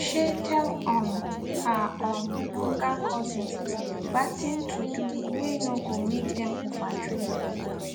shey tell um her um younger cousins watin to do whey no go make them over drink